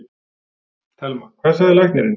Telma: Hvað sagði læknirinn?